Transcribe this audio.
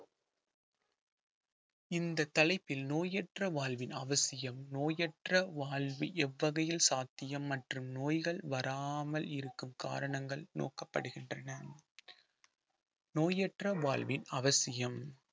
இந்த தலைப்பில் நோயற்ற வாழ்வின் அவசியம் நோயற்ற வாழ்வு எவ்வகையில் சாத்தியம் மற்றும் நோய்கள் வராமல் இருக்கும் காரணங்கள் நோக்கப்படுகின்றன நோயற்ற வாழ்வின் அவசியம்